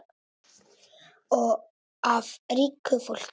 Af ríku fólki?